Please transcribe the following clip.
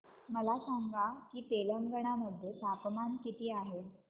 मला सांगा की तेलंगाणा मध्ये तापमान किती आहे